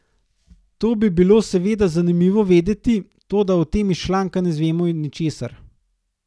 To bi bilo seveda zanimivo vedeti, toda o tem iz članka ne zvemo ničesar.